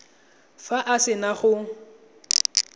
fa a se na go